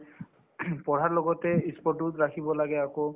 পঢ়াৰ লগতে ই sports ও ৰাখিব লাগে আকৌ